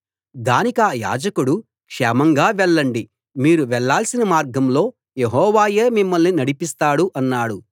దానికా యాజకుడు క్షేమంగా వెళ్ళండి మీరు వెళ్ళాల్సిన మార్గంలో యెహోవాయే మిమ్మల్ని నడిపిస్తాడు అన్నాడు